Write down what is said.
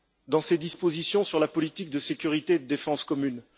dans ses dispositions sur la politique de sécurité de défense commune.